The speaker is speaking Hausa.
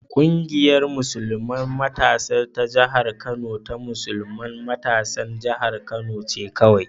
Ƙungiyar musulman matasa ta jihar Kano ta musulman matasan jihar Kano ce kawai.